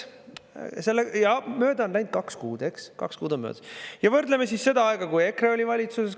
Ja mööda on läinud kaks kuud, kaks kuud on möödas, ja võrdleme siis seda aega, kui EKRE oli valitsuses.